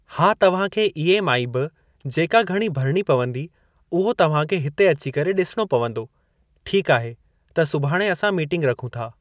हा तव्हां खे ईएमआई बि जेका घणी भरणी पवंदी उहो तव्हां खे हिते अची करे ॾिसणो पवंदो। ठीक आहे त सुभाणे असां मीटिंग रखूं था।